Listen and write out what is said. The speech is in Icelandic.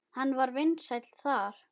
Hann var vinsæll þar.